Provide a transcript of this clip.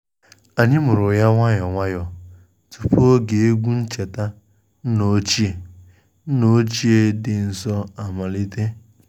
Anyi muru ya nwayọọ nwayọọ tupu oge egwu ncheta nna ochie nna ochie dị nsọ amalite